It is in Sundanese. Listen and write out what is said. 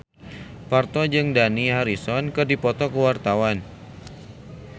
Parto jeung Dani Harrison keur dipoto ku wartawan